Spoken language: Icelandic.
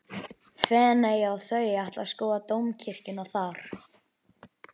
Feneyja og þau ætla að skoða dómkirkjuna þar.